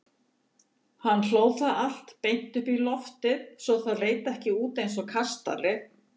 Hann hlóð það allt beint upp í loftið svo það leit út eins og kastali.